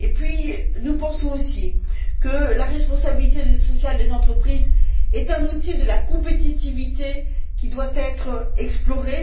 De plus, nous pensons aussi que la responsabilité sociale des entreprises est un outil de la compétitivité qui doit être exploré,